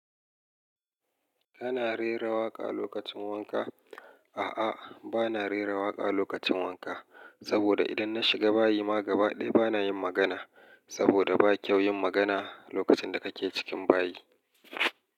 Kana rera waƙa lokacin wanka? A'a, bana rera waƙa lokacin wanka. Saboda idan na shiga bayi ma gaba ɗaya bana yin magana. Saboda ba kyau yin magana lokacin da kake cikin bayi.